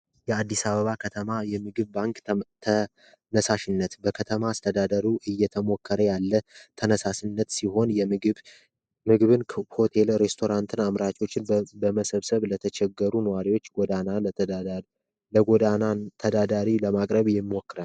የአዲስ አበባ ከተማ የምግብ ባንክ ተነሳሽነት በከተማ አስተዳደሩ እየተሞከረ ያለ ተነሳሽነት ሲሆን የምግብ መግብያን የሬስቶራንት አስተናጋጆችን በመሰብሰብ ለተቸገሩ ነዋሪዎች ለጎዳና ተዳዳሪዎች ለማቅረብ ይሞክራል።